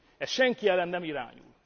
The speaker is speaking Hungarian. Ez senki ellen nem irányul.